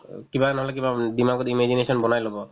কিবা নহ'লে কিবা উম dimag ত imagination বনাই ল'ব